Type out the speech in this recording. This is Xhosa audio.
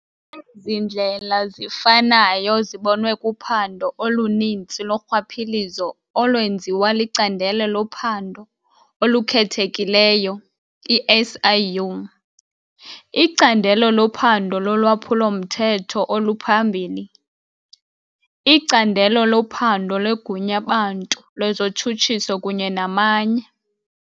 Ezindlela zifanayo zibonwe kuphando oluninzi lorhwaphilizo olwenziwa liCandelo loPhando oluKhethekileyo, i-SIU, iCandelo loPhando loLwaphulo-mthetho oluPhambili, iCandelo loPhando leGunyabantu lezoTshutshiso kunye namanye.